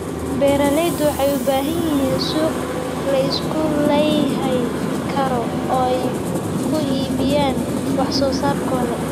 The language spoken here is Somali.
Beeraleydu waxay u baahan yihiin suuq la isku halayn karo oo ay ku iibiyaan wax soo saarkooda.